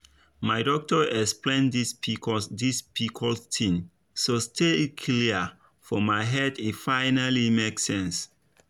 my doctor explain this pcos this pcos thing sotay e clear for my head e finally make sense.